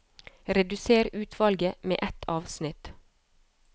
Redusér utvalget med ett avsnitt